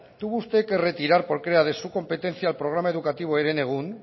tuvo usted que retirar porque era de su competencia el programa educativo herenegun